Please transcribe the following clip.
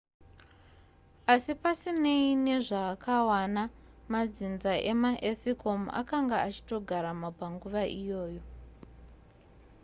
asi pasinei nezvaakawana madzinza emaeskimo akanga achitogaramo panguva iyoyo